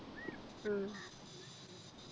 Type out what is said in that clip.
ഉം